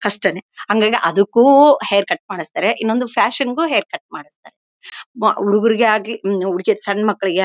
ಕಷ್ಟನೇ ಹಂಗಾಗಿ ಅದಕ್ಕೂ ಹೇರ್ ಕಟ್ ಮಾಡ್ಸತ್ತಾರೆ ಇನೊಂದು ಫ್ಯಾಶನ್ ಗು ಹೇರ್ ಕಟ್ ಮಾಡ್ಸತ್ತಾರೆ ಮ ಹುಡುಗ್ರಗೆ ಆಗ್ಲಿ ಹುಡು ಸಣ್ಣ ಮಕ್ಕಳಿಗೆ--